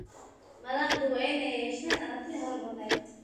Madaxdu waa inay yeeshaan aragti horumarineed.